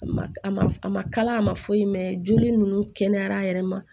A ma a ma a ma kala a ma foyi mɛn joli ninnu kɛnɛyara a yɛrɛ ma